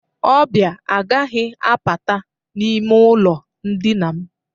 Ọbịa agaghị apata n'ime ụlọ ndịna m.